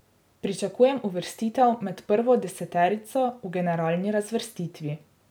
Pričakujem uvrstitev med prvo deseterico v generalni razvrstitvi.